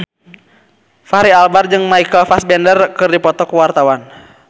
Fachri Albar jeung Michael Fassbender keur dipoto ku wartawan